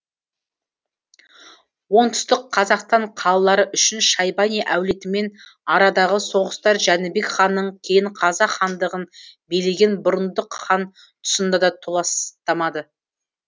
оңтүстік қазақстан қалалары үшін шайбани әулетімен арадағы соғыстар жәнібек ханнан кейін қазақ хандығын билеген бұрындық хан тұсында да толастамады